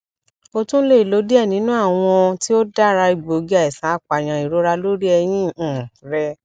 o tun le lo diẹ ninu awọn ti o dara egboogi aisan apaniyan irora lori ẹhin um rẹ